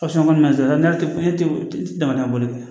kɔni ma sɔrɔ n'a tɛ ne tɛ ne dɛmɛ bolila